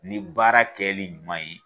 Ni baara kɛli ɲuman ye.